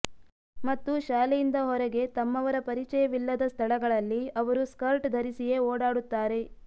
ಮತ್ತು ಶಾಲೆಯಿಂದ ಹೊರಗೆ ತಮ್ಮವರ ಪರಿಚಯವಿಲ್ಲದ ಸ್ಥಳಗಳಲ್ಲಿ ಅವರು ಸ್ಕರ್ಟ್ ಧರಿಸಿಯೇ ಓಡಾಡುತ್ತಾರೆ